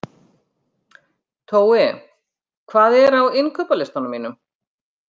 Tói, hvað er á innkaupalistanum mínum?